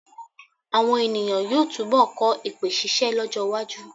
Àwọn è̀nìyàn yóò túnbọ̀ kọ́ èpè ṣíṣẹ́ lọ́jọ́-iwájú.